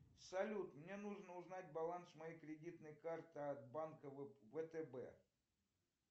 салют мне нужно узнать баланс моей кредитной карты от банка втб